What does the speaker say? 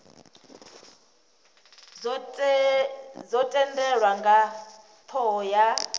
dzo tendelwa nga thoho ya